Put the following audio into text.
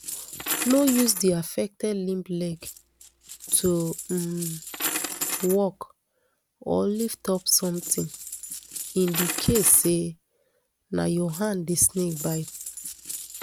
no use di affected limb leg to um walk or lift up sometin in di case say na your hand di snake bite